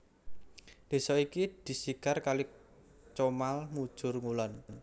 Desa iki disigar kali Comal mujur ngulon